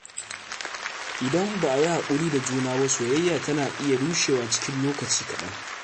Idan ba a yi haƙuri da juna ba, soyayya tana iya rushewa cikin lokaci kaɗan.